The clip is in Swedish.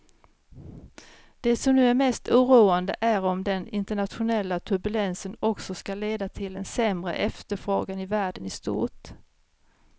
Det som nu är mest oroande är om den internationella turbulensen också ska leda till en sämre efterfrågan i världen i stort.